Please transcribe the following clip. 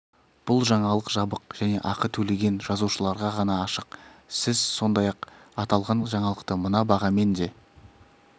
бұл жаңалық жабық және ақы төлеген жазылушыларға ғана ашық сіз сондай-ақ аталған жаңалықты мына бағамен де